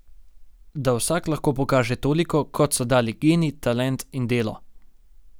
Da vsak lahko pokaže toliko, kot so dali geni, talent in delo.